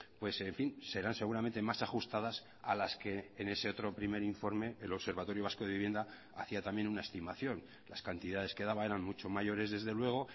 pues en fin serán seguramente más ajustadas a las que en ese otro primer informe el observatorio vasco de vivienda hacía también una estimación las cantidades que daban eran mucho mayores desde luego